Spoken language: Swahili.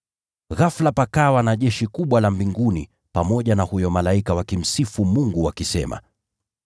Ghafula pakawa na jeshi kubwa la mbinguni pamoja na huyo malaika wakimsifu Mungu wakisema,